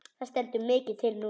Það stendur mikið til núna.